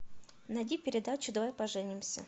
найди передачу давай поженимся